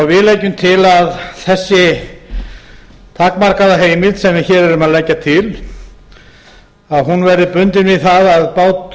við leggjum til að þessi takmarkaða heimild sem við hér erum að leggja til verði bundin við